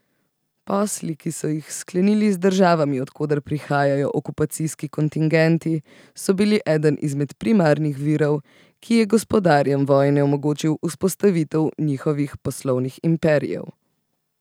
Posli, ki so jih sklenili z državami, od koder prihajajo okupacijski kontingenti, so bili eden izmed primarnih virov, ki je gospodarjem vojne omogočil vzpostavitev njihovih poslovnih imperijev.